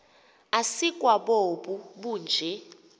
asikwa bobu bunje